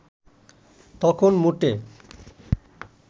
তখন মোটে